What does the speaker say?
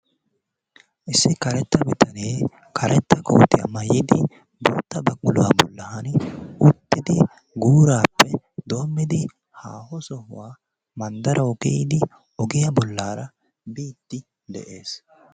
Issi karetta bitanee karetta kootiya mayyidi bootta baquluwa bollan uttidi guurappe doommidi haaho sohuwa manddarawu biidi ogiya bollara biide de'ees.